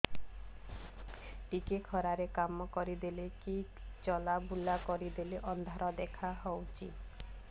ଟିକେ ଖରା ରେ କାମ କରିଦେଲେ କି ଚଲବୁଲା କରିଦେଲେ ଅନ୍ଧାର ଦେଖା ହଉଚି